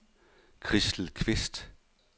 Christel Kvist